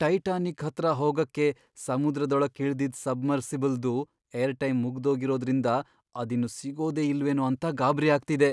Titanic ಹತ್ರ ಹೋಗಕ್ಕೆ ಸಮುದ್ರದೊಳಕ್ ಇಳ್ದಿದ್ ಸಬ್ಮರ್ಸಿಬಲ್ದು ಏರ್ಟೈಮ್ ಮುಗ್ದೋಗಿರೋದ್ರಿಂದ ಅದಿನ್ನು ಸಿಗೋದೇ ಇಲ್ವೇನೋ ಅಂತ ಗಾಬ್ರಿ ಆಗ್ತಿದೆ.